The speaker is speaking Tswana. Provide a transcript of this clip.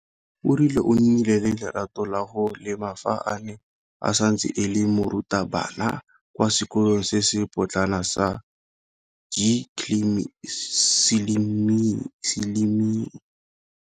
O rile o nnile le lerato la go lema fa a ne a santse e le morutabana kwa sekolong se se potlana sa Gcilima.